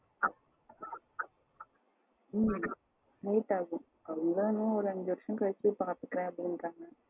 ம் late ஆகும். அவங்களா இன்னும் ஒரு அஞ்சி வருஷம் கழுச்சி பாத்துக்கலாம் அப்டிகிறங்க